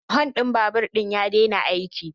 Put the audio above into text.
Hun din babur din ya daina aiki